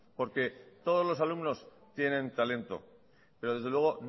porque todos los alumnos tienen talento pero desde luego